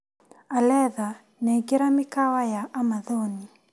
Aletha nengera mikawa ya Amathoni.